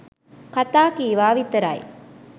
කතා කීවා විතරයි